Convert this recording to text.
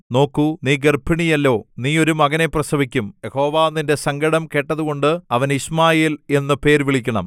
നോക്കൂ നീ ഗർഭിണിയല്ലോ നീ ഒരു മകനെ പ്രസവിക്കും യഹോവ നിന്റെ സങ്കടം കേട്ടതുകൊണ്ട് അവന് യിശ്മായേൽ എന്നു പേരു വിളിക്കണം